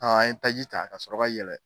A an ye taji ta ka sɔrɔ ka yɛlɛ